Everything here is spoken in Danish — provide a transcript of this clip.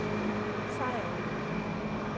Sejerø